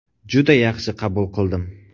Juda yaxshi qabul qildim.